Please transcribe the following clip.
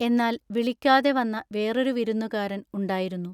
എന്നാൽ വിളിക്കാതെ വന്ന വേറൊരു വിരുന്നുകാരൻ ഉണ്ടായിരുന്നു.